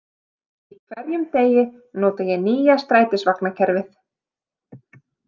Í hverjum degi nota ég nýja strætisvagnakerfið.